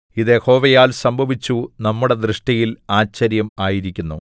ഇത് യഹോവയാൽ സംഭവിച്ചു നമ്മുടെ ദൃഷ്ടിയിൽ ആശ്ചര്യം ആയിരിക്കുന്നു